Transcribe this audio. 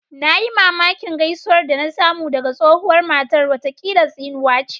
Na yi mamakin gaisuwar da na samu daga tsohuwar matar, watakila tsinuwa ce